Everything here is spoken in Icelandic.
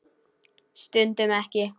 Stundum ekki.